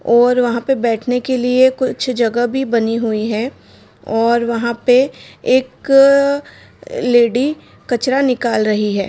और वहाँ पे बेठने के लिए कुछ जगह भी बनी हुई है और वहाँ पे एक लेडी कचरा निकाल रही है।